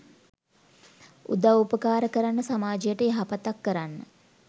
උදව් උපකාර කරන්න සමාජයට යහපතක් කරන්න